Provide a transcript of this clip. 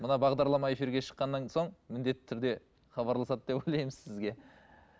мына бағдарлама эфирге шыққаннан соң міндетті түрде хабарласады деп ойлаймын сізге